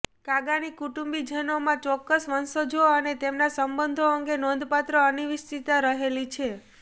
કાગાની કુટુંબીજનોમાં ચોક્કસ વંશજો અને તેમના સંબંધો અંગે નોંધપાત્ર અનિશ્ચિતતા રહેલી છે